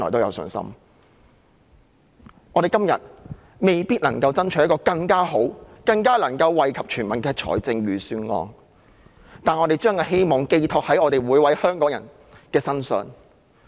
今天，我們未必能夠爭取一份更好、更能夠惠及全民的預算案，但我們把希望寄託在每位香港人身上。